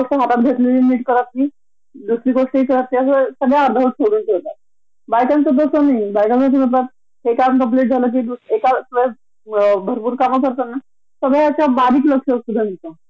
सगळी कामा आपण बँलन्स करून वेळेच्या आधी नऊ च्या ऑफिस ला पाच वाजता उठून घरातला स्वयपाक पाणी आवरून, मुलाचं सगळा आवरून, नवाऱ्याला टिफीन रेडी करून, घरातील असतील ती चार काम करून आपण नऊ च्या ड्यूटी टच होतो.